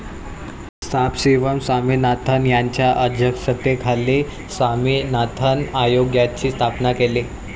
सांबशिवम स्वामिनाथन यांच्या अध्यक्षतेखाली स्वामिनाथन आयोगाची स्थापना केली.